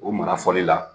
O mara fɔli la